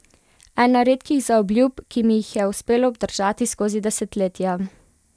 Ena redkih zaobljub, ki mi jih je uspelo obdržati skozi desetletja ...